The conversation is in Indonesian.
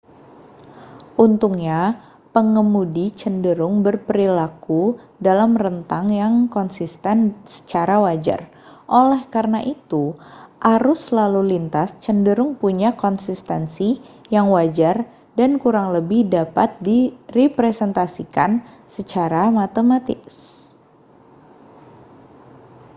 untungnya pengemudi cenderung berperilaku dalam rentang yang konsisten secara wajar oleh karena itu arus lalu lintas cenderung punya konsistensi yang wajar dan kurang lebih dapat direpresentasikan secara matematis